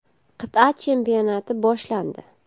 Qit’a chempionati boshlandi.